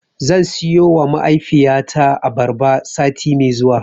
Zan siyowa mahaifiyata abarba sati mai zuwa.